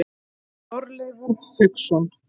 Þorleifur Hauksson.